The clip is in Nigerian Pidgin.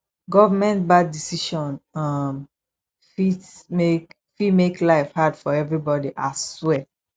government bad decision um fit make fit make life hard for everybody ahswear